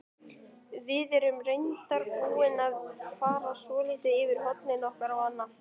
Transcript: Við erum reyndar búin að fara svolítið yfir hornin okkar og annað.